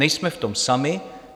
Nejsem v tom sami.